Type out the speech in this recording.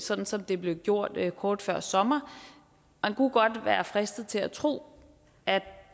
sådan som det blev gjort kort før sommer man kunne godt være fristet til at tro at